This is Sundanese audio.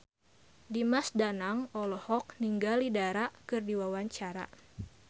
Dimas Danang olohok ningali Dara keur diwawancara